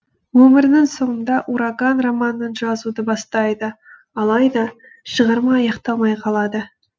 өмірінің соңында ураган романын жазуды бастайды алайда шығарма аяқталмай қалады